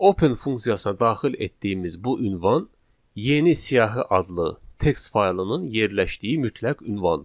Open funksiyasına daxil etdiyimiz bu ünvan yeni siyahı adlı text faylının yerləşdiyi mütləq ünvandır.